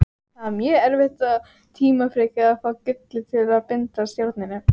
Það var mjög erfitt og tímafrekt að fá gullið til að bindast járninu.